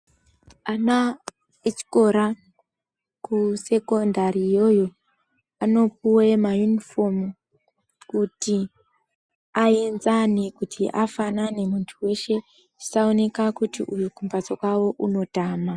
Ana e chikora ku sekondari yo iyo anopuwe ma yunifomu kuti ayenzane kuti afanane muntu weshe zvisa oneka kuti uyu ku mbatso kwake anotama.